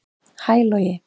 Hæ Logi